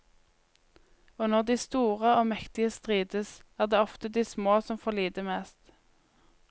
Og når de store og mektige strides, er det ofte de små som får lide mest.